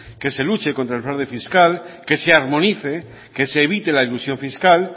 que se luche contra el fraude fiscal que se armonice que se evite la elusión fiscal